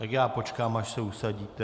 Tak já počkám, až se usadíte.